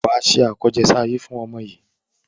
Wà á ṣe àkọsẹ̀jayé fún ọmọ yìí.